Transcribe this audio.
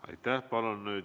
Aitäh!